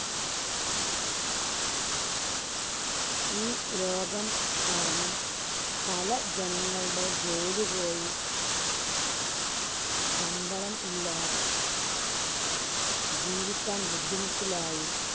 ഈ രോഗം കാരണം പല ജനങ്ങളുടെ ജോലി പോയി. ശമ്പളം ഇല്ല. ജീവിക്കാന്‍ ബുദ്ധിമുട്ടിലായി.